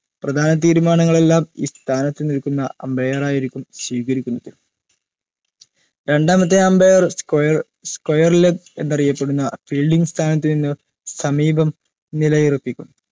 പ്രധാന തീരുമാങ്ങൾ എല്ലാം ഈ സ്ഥാനത്തു നിൽക്കുന്ന umpire ആയിരിക്കും സ്വീകരിക്കുന്നത് രണ്ടാമത്തെ square square ലെബ്‌ എന്നറിയപെടുന്ന fielding സ്ഥാനത്തിനിന്ന് സമീപം നിലയുറപ്പിക്കും